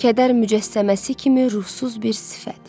Kədər mücəssəməsi kimi ruhsuz bir sifət.